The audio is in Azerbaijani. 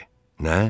Nə?